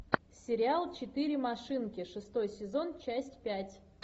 сериал четыре машинки шестой сезон часть пять